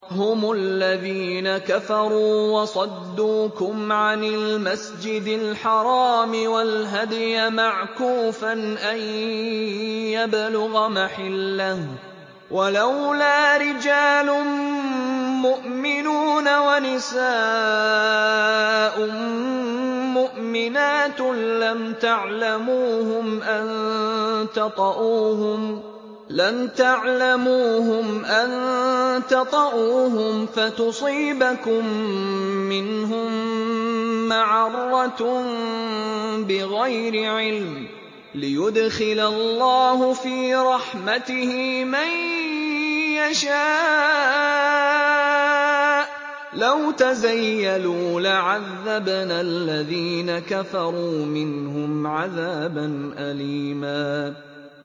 هُمُ الَّذِينَ كَفَرُوا وَصَدُّوكُمْ عَنِ الْمَسْجِدِ الْحَرَامِ وَالْهَدْيَ مَعْكُوفًا أَن يَبْلُغَ مَحِلَّهُ ۚ وَلَوْلَا رِجَالٌ مُّؤْمِنُونَ وَنِسَاءٌ مُّؤْمِنَاتٌ لَّمْ تَعْلَمُوهُمْ أَن تَطَئُوهُمْ فَتُصِيبَكُم مِّنْهُم مَّعَرَّةٌ بِغَيْرِ عِلْمٍ ۖ لِّيُدْخِلَ اللَّهُ فِي رَحْمَتِهِ مَن يَشَاءُ ۚ لَوْ تَزَيَّلُوا لَعَذَّبْنَا الَّذِينَ كَفَرُوا مِنْهُمْ عَذَابًا أَلِيمًا